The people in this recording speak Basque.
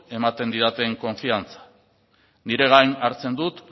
ematen didaten konfidantza nire gain hartzen dut